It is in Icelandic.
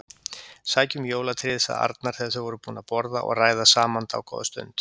Sækjum jólatréð sagði Arnar þegar þau voru búin að borða og ræða saman dágóða stund.